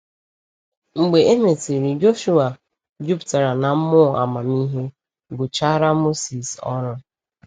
Mgbe e mesịrị, Joshuwa, “juputara na mmụọ amamihe,” gụchara Mosis ọrụ.